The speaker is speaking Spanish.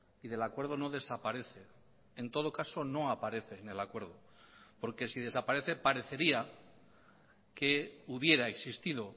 y del acuerdo no desaparece en todo caso no aparece en el acuerdo porque si desaparece parecería que hubiera existido